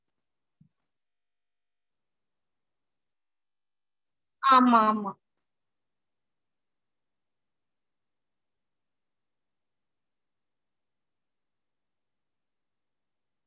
okay mam four to five KG ல black forest ல வேணுங்களா? okay mam செஞ்சிடலாம் mam first of all என்ன date என்னானு எங்களுக்கு event அது தெரிஞ்சிக்கலாமா?